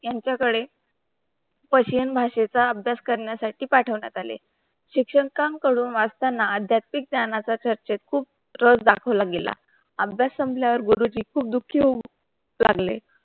यांचा कडे पर्शिअन भाषा च्या अभ्यास करण्या साठी पाठवण्यात आले शिक्षण काम करून वाचतंय अध्याचीक त्यांनाच डाकोला गेला. अभ्यास संपला पार गुरुजी खूब दुःखी हो लागले.